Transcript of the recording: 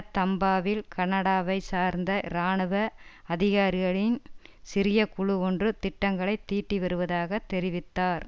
தம்பாவில் கனடாவைச் சார்ந்த இராணுவ அதிகாரிகளின் சிறிய குழு ஒன்று திட்டங்களை தீட்டிவருவதாக தெரிவித்தார்